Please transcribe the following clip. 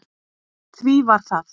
Því var það